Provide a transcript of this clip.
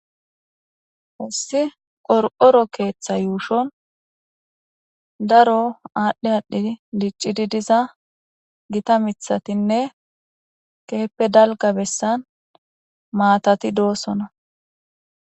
Ossi qor'oro keeththa yuushon daro aadhdhi aadhdhi diccidi diza gita mithatinne keeppe dalga bessan maatati doosona.